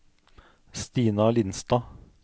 Stina Lindstad